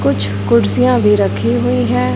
कुछ कुर्सियां भी रखी हुई है।